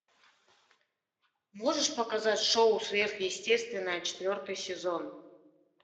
можешь показать шоу сверхъестественное четвертый сезон